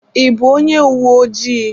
I bụ onye uwe ojii?